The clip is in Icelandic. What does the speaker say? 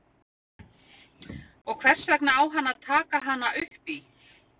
Og hvers vegna á hann að taka hana upp í?